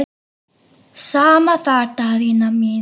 Sama þar Daðína mín.